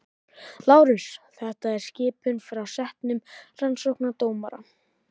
LÁRUS: Þetta er skipun frá settum rannsóknardómara.